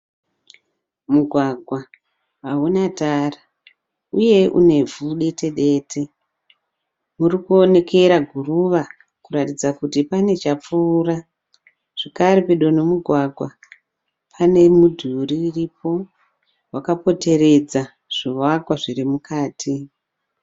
Mugwagwa hauna tara uye une vhu dete dete. Uri kuonekera guruva kuratidza kuti pane chapfuura. Zvakare pedo nemugwagwa pane mudhuri uripo wakapoteredza zvivakwa zviri mukati.